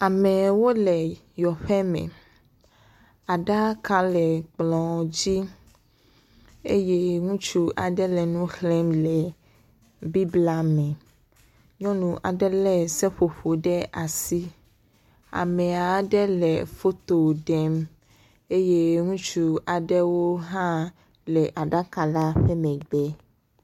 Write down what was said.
Amewo le yɔƒe me. Aɖaka le kplɔ dzi. Eye Ŋutsu aɖe le nu xlem le biblia me. Nyɔnu aɖe le seƒoƒo ɖe asi. Ame ɖe le foto ɖem eye ŋutsu aɖewo hã le aɖaka la ƒe megbe.